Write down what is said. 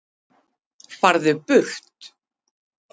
FARÐU BURT